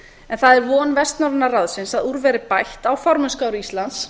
en það er von vestnorræna ráðsins að úr verði bætt á formennskuári íslands